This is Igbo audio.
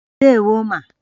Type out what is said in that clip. Ndewo ma